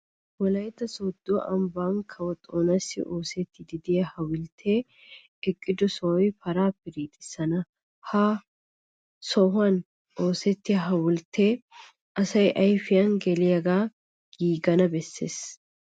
Wolaytta sooddo ambban kawo Xoonassi oosettiiddi de'iya hawulttee eqqido sohoy paraa piriixissana. Ha aaho sohuwan oosettiya hawulttee asaa ayfiyan geliyagaa, giigana bessees.